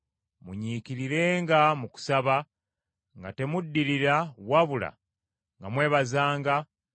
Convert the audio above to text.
Munyiikirirenga mu kusaba, nga temuddirira, wabula nga mwebazanga